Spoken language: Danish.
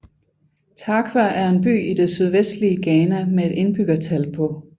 Tarkwa er en by i det sydvestlige Ghana med et indbyggertal på